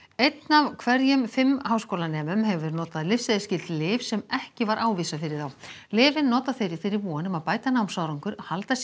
einn af hverjum fimm háskólanemum hefur notað lyfseðilsskyld lyf sem ekki var ávísað fyrir þá lyfin nota þeir í þeirri von að bæta námsárangur halda sér